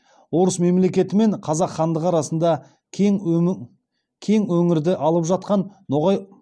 орыс мемлекеті мен қазақ хандығы арасында